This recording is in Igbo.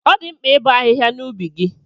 Ọ dị mkpa ibo ahịhịa n'ubi gị